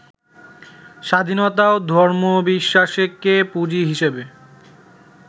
স্বাধীনতাও ধর্মবিশ্বাসকে পুঁজি হিসাবে